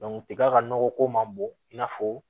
tiga ka nɔgɔ ko man bon i n'a fɔ